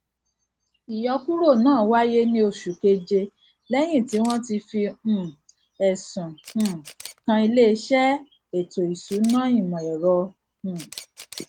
ìyọkúrò náà wáyé ní oṣù keje lẹyìn tí wọn ti fi um ẹsùn um kan iléiṣẹ ètòìsúnáìmọẹrọ um